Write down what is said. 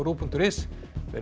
punktur is verið